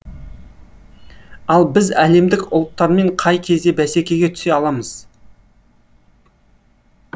ал біз әлемдік ұлттармен қай кезде бәсекеге түсе аламыз